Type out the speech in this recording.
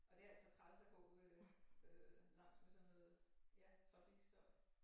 Og det altså træls at gå øh øh langs med sådan noget ja trafikstøj